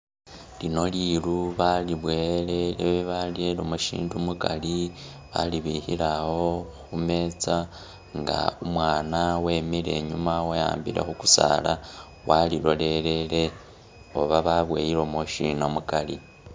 Lino liru balibowele e- barelemo ishindu mukari balibikhile awo khu metsa nga umwana wemile inyuma weyambile khukusaala walilolelele oba baboyelemo shina mukari?